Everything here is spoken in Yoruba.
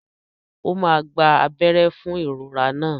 Ó máa gba abẹ́rẹ́ fún ìrora náà.